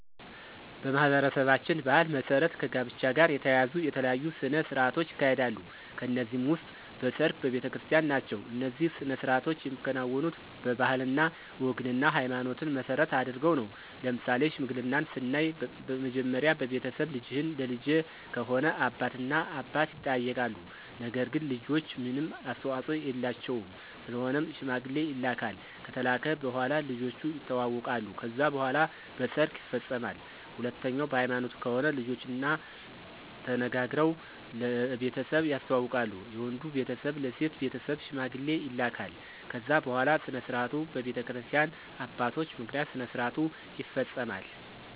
በማኅበረሰባችን ባሕል መሠረት ከጋብቻ ጋር የተያያዙ የተለያዩ ሥነ ሥርዓቶች ይካሄዳሉ ከነዚህም ውስጥ በሰርግ፣ በቤተክርስቲን ናቸው። እነዚህ ሥነ ሥርዓቶች የሚከናወኑት ባህልና ወግንና ሀይማኖትን መሰረት አድርገው ነው። ለምሳሌ ሽምግልናን ስናይ መጀመሪያ በቤተሰብ ልጅህን ለልጀ ከሆነ አባት እና አባት ይጠያይቃሉ ነገር ግን ልጆች ምንም አስተዋፆ የላቸውም ስለሆነም ሽማግሌ ይላካል ከተላከ በኋላ ልጆቹ የተዋወቃሉ ከዛ በኋላ በሰርግ ይፈፀማል። ሁለተኛው በሀይማኖት ከሆነ ልጆችና ተነጋግረው ለቤተሰብ ያስተዋውቃሉ የወንዱ ቤተሰብ ለሴት ቤተሰብ ሽማግሌ ይላካል ከዛ በኋላ ስነስርዓቱ በቤተክርስቲያ አባቶች ምክንያት ስነስርዓቱ ይፈፀማል።